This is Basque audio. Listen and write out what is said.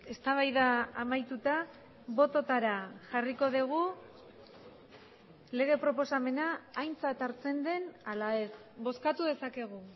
eztabaida amaituta bototara jarriko dugu lege proposamena aintzat hartzen den ala ez bozkatu dezakegu